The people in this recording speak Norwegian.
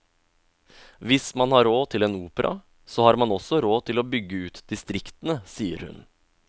Hvis man har råd til en opera, så har man også råd til å bygge ut distriktene, sier hun.